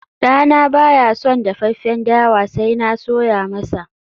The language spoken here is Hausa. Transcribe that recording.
dana baya son dafaffen dawa sai na soya masa